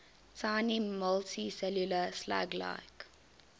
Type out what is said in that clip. tiny multicellular slug like